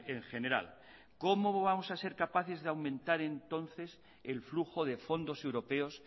en general cómo vamos a ser capaces de aumentar entonces el flujo de fondos europeos